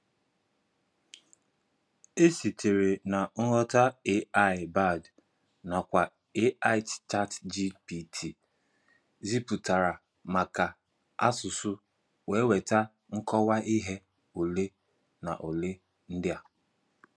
E sitere na nghọta AI Bard nakwa AI ChatGPT ziputara maka asụsụ wee weta nkọwa ihe ole na ole ndị a.